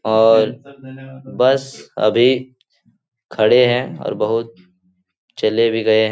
और बस अभी खड़े हैं और बहुत चले भी गए हैं।